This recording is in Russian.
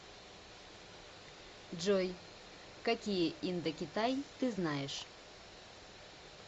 джой какие индокитай ты знаешь